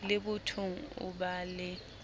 le bothong o ba le